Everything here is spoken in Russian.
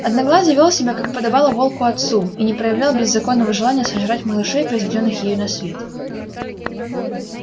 одноглазый вёл себя как и подобало волку отцу и не проявлял беззаконного желания сожрать малышей произведённых ею на свет